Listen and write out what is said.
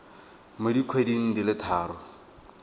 mo dikgweding di le tharo